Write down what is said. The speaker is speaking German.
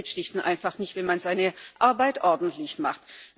Das geht schlicht und einfach nicht, wenn man seine Arbeit ordentlich macht.